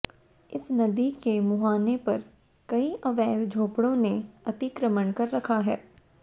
इस नदी के मुहाने पर कई अवैध झोपड़ो ने अतिक्रमण कर रखा था